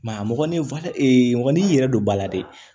a mɔgɔninfin mɔgɔninfin yɛrɛ don ba la dɛ